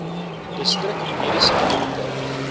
distrik mediese beampte